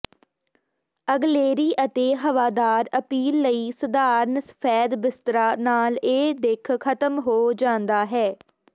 ਅਗਲੇਰੀ ਅਤੇ ਹਵਾਦਾਰ ਅਪੀਲ ਲਈ ਸਧਾਰਨ ਸਫੈਦ ਬਿਸਤਰਾ ਨਾਲ ਇਹ ਦਿੱਖ ਖਤਮ ਹੋ ਜਾਂਦਾ ਹੈ